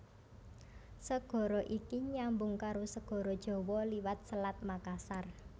Segara iki nyambung karo Segara Jawa liwat Selat Makassar